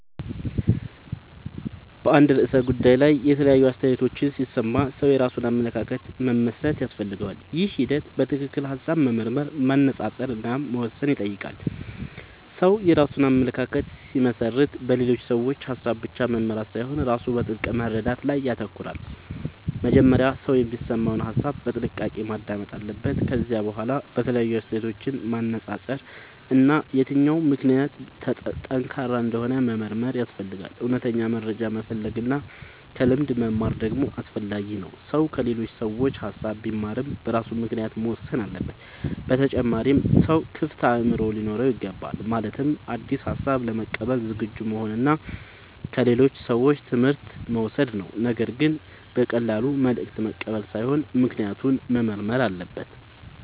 በአንድ ርዕሰ ጉዳይ ላይ የተለያዩ አስተያየቶችን ሲሰማ ሰው የራሱን አመለካከት መመስረት ያስፈልገዋል። ይህ ሂደት በትክክል ሐሳብ መመርመር፣ መነጻጸር እና መወሰን ይጠይቃል። ሰው የራሱን አመለካከት ሲመሰርት በሌሎች ሰዎች ሐሳብ ብቻ መመራት ሳይሆን ራሱ በጥልቅ መረዳት ላይ ይተኮራል። መጀመሪያ ሰው የሚሰማውን ሐሳብ በጥንቃቄ ማዳመጥ አለበት። ከዚያ በኋላ የተለያዩ አስተያየቶችን ማነጻጸር እና የትኛው ምክንያት ጠንካራ እንደሆነ መመርመር ያስፈልጋል። እውነተኛ መረጃ መፈለግ እና ከልምድ መማር ደግሞ አስፈላጊ ነው። ሰው ከሌሎች ሰዎች ሐሳብ ቢማርም በራሱ ምክንያት መወሰን አለበት። በተጨማሪም ሰው ክፍት አእምሮ ሊኖረው ይገባል። ማለትም አዲስ ሐሳብ ለመቀበል ዝግጁ መሆን እና ከሌሎች ሰዎች ትምህርት መውሰድ ነው። ነገር ግን በቀላሉ መልእክት መቀበል ሳይሆን ምክንያቱን መመርመር አለበት።